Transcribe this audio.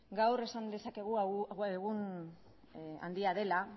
gaur esan dezakegu gaur egun handia dela